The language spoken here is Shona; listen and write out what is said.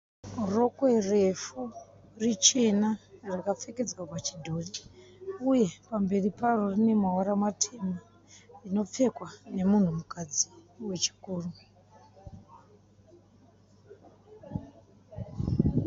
Rokwe refu richena rakapfekedzwa pachidhori uye pamberi paro rine mavara matema. Rinopfekwa nemunhukadzi wechikuru.